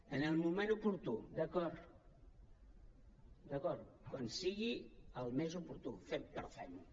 en el moment oportú d’acord d’acord quan sigui el més oportú però fem ho